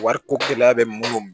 Wariko gɛlɛya bɛ mun bolo